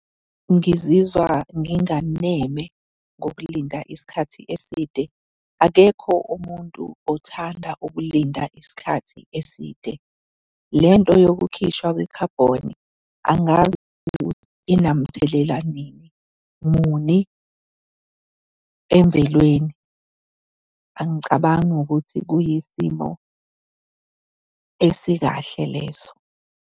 Ngizizwa nginganeme ngokulinda isikhathi eside. Akekho umuntu othanda ukulinda isikhathi eside. Le nto yokukhishwa kwekhabhoni angazi ukuthi inamthelela nini, muni emvelweni. Angicabangi ukuthi kuyisimo esikahle leso.